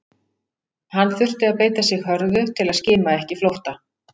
Hann þurfti að beita sig hörðu til að skima ekki flótta